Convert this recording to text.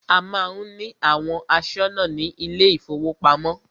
A má ń ní àwọn aṣọ́nà ní ilé ìfọwọ́pamo.